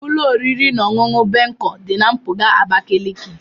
Ụlọ oriri na ọṅụṅụ Bencol dị na mpụga Abakaliki.